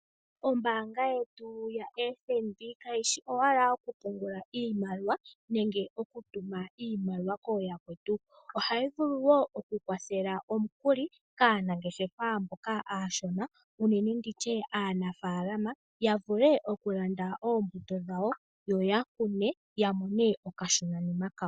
Ombaanga yetu ya FNB kayishi owala yokupungula iimaliwa nenge okutuma iimaliwa kooyakwetu. Ohayi vulu woo oku kwathela omukuli kaanangeshefa mboka aashona ,unene nditye aanafaalama, ya vule okulanda oombuto dhawo, yo yakune ya mone okashona nima kawo.